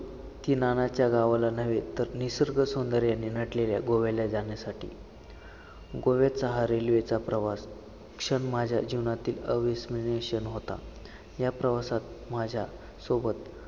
की नानाच्या गावाला नव्हे, तर निसर्ग सौंदर्यने नटलेल्या गोव्याला जाण्यासाठी गोव्याचा हा railway चा प्रवास क्षण माझ्या जीवनातील अविस्मरणीय क्षण होता, या प्रवासात माझ्यासोबत